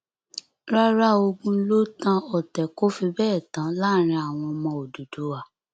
rárá ogún ló tan ọtẹ kò fi bẹẹ tán láàrin àwọn ọmọ òdúdúwá